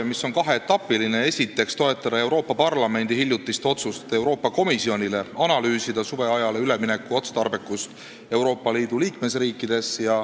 Esiteks teeme ettepaneku toetada Euroopa Parlamendi hiljutist otsust teha Euroopa Komisjonile ülesandeks analüüsida suveajale ülemineku otstarbekust Euroopa Liidu liikmesriikides.